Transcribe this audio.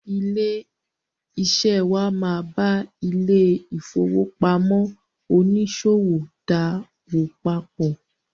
Ilé-iṣẹ́ wà máa ba ilé-ìfowópamọ oníṣòwò dáwòpòpọ.